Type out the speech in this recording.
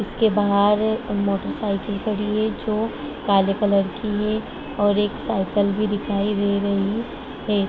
इसके बाहर मोटरसाइकिल खड़ी है जो काले कलर की है और एक साईकल भी दिखाई दे रही है ।